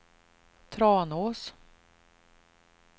Tranås